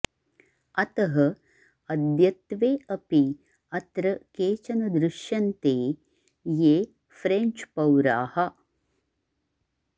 अतः अद्यत्वे अपि अत्र केचन दृश्यन्ते ये फ्रेञ्च्पौराः